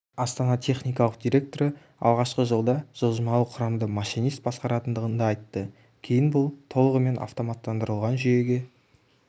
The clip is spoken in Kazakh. астана техникалық директоры алғашқы жылда жылжымалы құрамды машинист басқаратындығын да айтты кейін бұл толығымен автоматтандырылған жүйеге